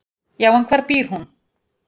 """Já, en hvar býr hún?"""